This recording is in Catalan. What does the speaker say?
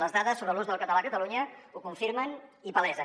les dades sobre l’ús del català a catalunya ho confirmen i ho palesen